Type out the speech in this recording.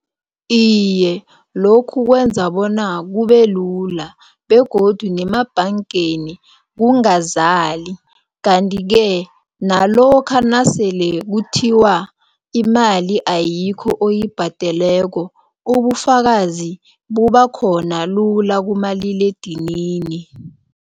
Iye, lokhu kwenza bona kubelula begodu namabhangeni kungazali kanti-ke nalokha nasele kuthiwa imali ayikho oyibhadeleko ubufakazi bubakhona lula kumaliledinini.